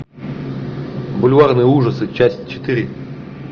бульварные ужасы часть четыре